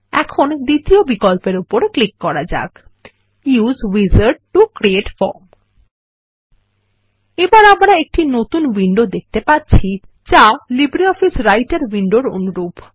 এখন দ্বিতীয় বিকল্পের উপর ক্লিক করা যাক use wizard to create form এখন আমরা একটি নতুন উইন্ডো দেখতে পাচ্ছি যা লিব্রিঅফিস রাইটের উইন্ডোর অনুরূপ